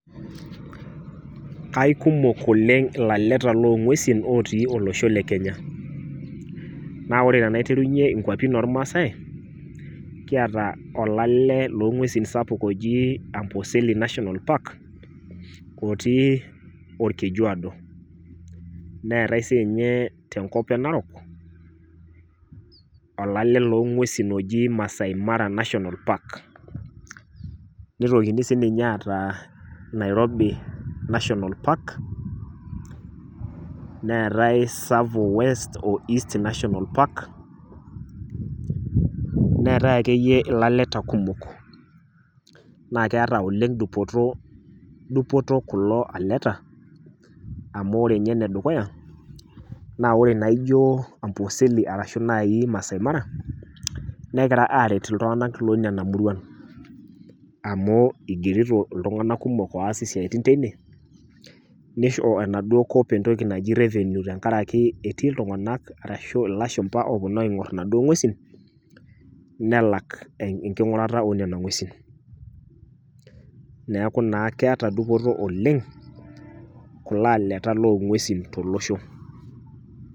Kaikumok oleng' ilaleta loong'uesin otii olosho le Kenya. Naa ore tenaiterunye inkuapin ormaasai kiata olale loong'uesin sapuk ojii Amboseli National Park otii olkejuaado neetai siinye tenkop e Narok olale loong'uesin oji Masai Mara National Park. Neitokini sininye aataa Nairobi National Park neetai Tsavo West o East National Park. Neetai akeiye ilaleta kumok naakeata oleng' dupotoo, dupoto kulo aleta amu ore ninye nedukuya naa ore naijoo Amboseli arashu nai Masai Mara negira aaret iltung'ana loinena muruan amuu eigerito iltung'ana kumok oas isiaitin teine neisho enaduo kop entoki naji  revenue tengarakii etii iltung'ana ashu ilashumba opuonu aing'orr naduo ng'uesi nelak enking'urata oonena ng'uesin. Neaku naa keata dupoto oleng' kuloaleta loong'uesin tolosho.